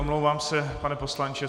Omlouvám se, pane poslanče .